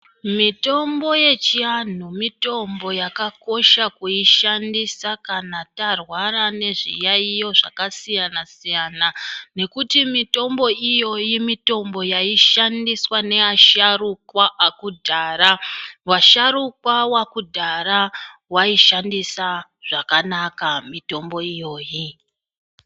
Mitombo yechivantu mitombo yakakosha kushandisa kana tarwara nezviyayiyo zvakasiyana siyana nekuti mitombo iyoyi mitombo yaishandiswa neasharukwa akudhara vasharukwa wakudhara vaishandisa zvakanaka mitombo iyoyi.